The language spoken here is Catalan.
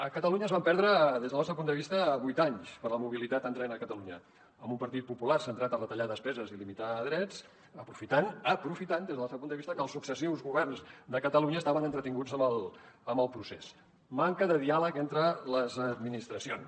a catalunya es van perdre des del nostre punt de vista vuit anys per la mobilitat en tren a catalunya amb un partit popular centrat a retallar despeses i limitar drets aprofitant aprofitant des del nostre punt de vista que els successius governs de catalunya estaven entretinguts amb el procés manca de diàleg entre les administracions